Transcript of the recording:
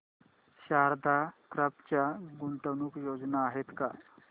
Sharda crop च्या गुंतवणूक योजना आहेत का